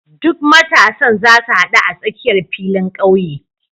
Duk matasan zasu hadu a tsakiyar filin ƙauye.